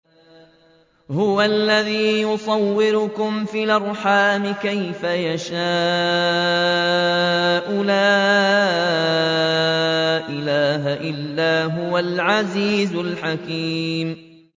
هُوَ الَّذِي يُصَوِّرُكُمْ فِي الْأَرْحَامِ كَيْفَ يَشَاءُ ۚ لَا إِلَٰهَ إِلَّا هُوَ الْعَزِيزُ الْحَكِيمُ